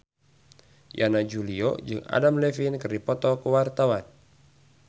Yana Julio jeung Adam Levine keur dipoto ku wartawan